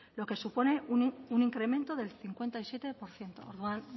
lo que supone un incremento del cincuenta y siete por ciento orduan